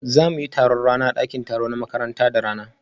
Za mu yi taron rana a ɗakin taro na makaranta da rana